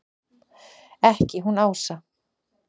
Ekki hún Ása!